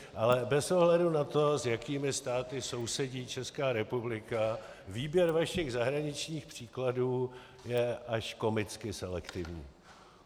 Ale bez ohledu na to, s jakými státy sousedí Česká republika, výběr vašich zahraničních případů je až komicky selektivní.